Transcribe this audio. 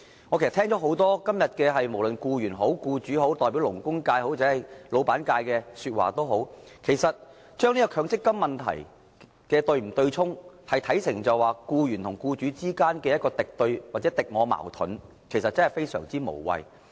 我今天聽到很多議員在發言時，無論是從僱員或僱主角度，抑或是代表勞工界或老闆界的發言，都把強積金對沖問題看成為僱員與僱主之間的敵對或敵我矛盾，其實這看法非常無謂。